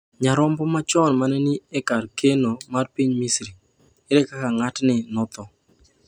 Nyarombo machon ma ne ni e kar keno mar piny Misri, ere kaka ng’atni notho?